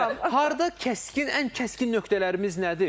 Ümumiyyətlə, harda kəskin, ən kəskin nöqtələrimiz nədir?